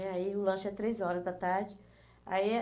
Aí o lanche é três horas da tarde. Aí eh